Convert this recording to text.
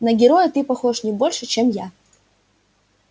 на героя ты похож не больше чем я